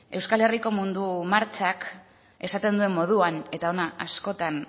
euskal herriko mundu martxak esaten duen moduan eta hona askotan